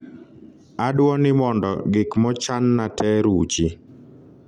adwo ni mondo gik mochanna te ruchi